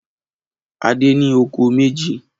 Adé ní oko méjì.